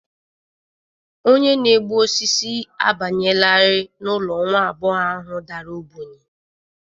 Onye na-egbu osisi abanyelarị n'ụlọ nwa agbọghọ ahụ dara ogbenye